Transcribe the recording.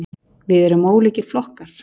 Við erum ólíkir flokkar.